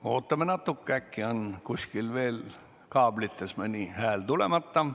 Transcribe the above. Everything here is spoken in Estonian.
Me ootame natuke, äkki on kuskilt kaablitest mõni hääl veel tulemata.